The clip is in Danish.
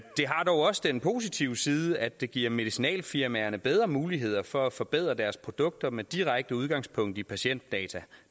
har dog også den positive side at det giver medicinalfirmaerne bedre muligheder for at forbedre deres produkter med direkte udgangspunkt i patientdata